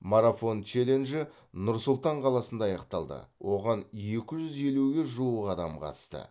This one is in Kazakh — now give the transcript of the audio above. марафон челленджі нұр сұлтан қаласында аяқталды оған екі жүз елуге жуық адам қатысты